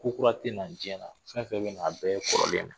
Kokura tɛ na diɲɛ na fɛn o fɛn bɛ na a bɛɛ ye kɔrɔlen ye